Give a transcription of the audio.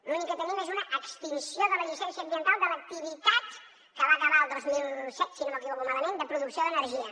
l’únic que tenim és una extinció de la llicència ambiental de l’activitat que va acabar el dos mil set si no ho recordo malament de producció d’energia